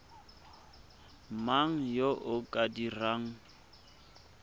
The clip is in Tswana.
mang yo o ka dirang